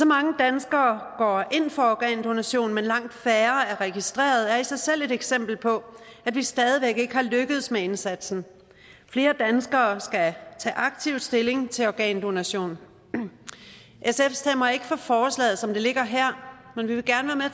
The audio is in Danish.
mange danskere går ind for organdonation men langt færre er registreret er det i sig selv et eksempel på at vi stadig væk ikke er lykkedes med indsatsen flere danskere skal tage aktivt stilling til organdonation sf stemmer ikke for forslaget som det ligger her men vi vil gerne